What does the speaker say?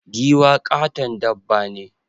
Giwa ƙaton dabba ne.